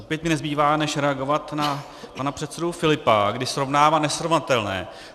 Opět mi nezbývá než reagovat na pana předsedu Filipa, když srovnává nesrovnatelné.